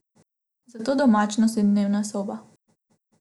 Zato domačnost in dnevna soba.